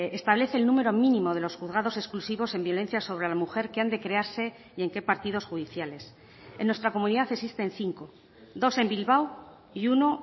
establece el número mínimo de los juzgados exclusivos en violencia sobre la mujer que han de crearse y en qué partidos judiciales en nuestra comunidad existen cinco dos en bilbao y uno